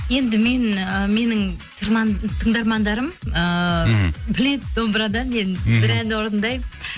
енді мен ы менің тыңдармандарым ыыы мхм біледі домбырада мен бір ән орындаймын